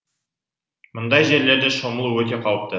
мұндай жерлерде шомылу өте қауіпті